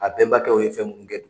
A bɛnbakɛw ye fɛn munnu kɛ